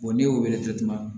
ne y'o wele kɛ tuma